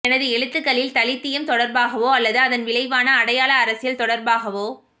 எனது எழுத்துக்களில் தலித்தியம் தொடர்பாகவோ அல்லது அதன் விளைவான அடையாள அரசியல் தொடர்பாகவோ